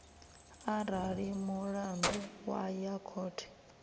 arali mulandu wa ya khothe